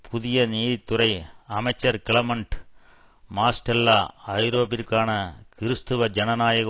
புதிய நீதித்துறை அமைச்சர் கிளமண்ட் மாஸ்டெல்லா ஐரோப்பாவிற்கான கிருஸ்துவ ஜனநாயக